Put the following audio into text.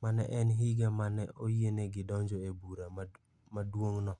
ma ne en higa ma ne oyienegi donjo e Bura Maduong'no.